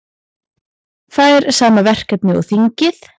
Fær sama verkefni og þingið